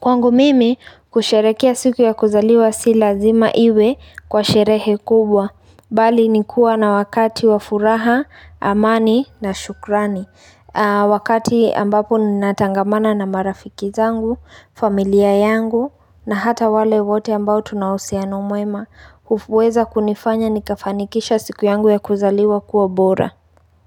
Kwangu mimi, kusherekea siku ya kuzaliwa si lazima iwe kwa sherehe kubwa. Bali ni kuwa na wakati wa furaha, amani na shukrani. Wakati ambapo ninatangamana na marafiki zangu familia yangu na hata wale wote ambao tunahusiano mwema. Kuweza kunifanya nikafanikisha siku yangu ya kuzaliwa kuwa bora.